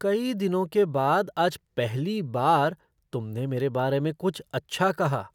कई दिनों के बाद आज पहली बार तुमने मेरे बारे में कुछ अच्छा कहा।